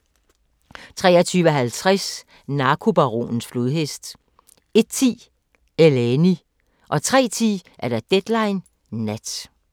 23:50: Narkobaronens flodhest 01:10: Eleni 03:10: Deadline Nat